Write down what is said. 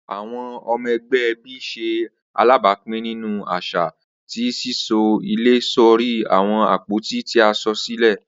Awọn ọmọ ẹgbẹ ẹbi ṣe alabapin ninu aṣa ti sisọ ile sori awọn apoti ti a sọ silẹ.